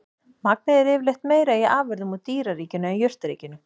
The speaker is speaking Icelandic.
Magnið er yfirleitt meira í afurðum úr dýraríkinu en jurtaríkinu.